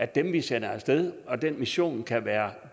dem vi sender af sted og den mission kan være